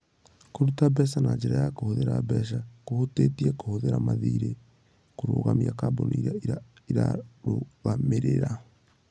Kũruta mbeca na njĩra ya kũhũthĩra mbeca kũhutĩtie kũhũthĩra mathiirĩ kũrũgamia kambuni ĩrĩa ĩrarũgamĩrĩra.